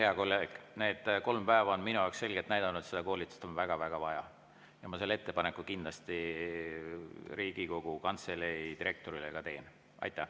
Need kolm päeva on minu selgelt näidanud, et seda koolitust on väga-väga vaja, ja kindlasti ma selle ettepaneku Riigikogu Kantselei direktorile ka teen.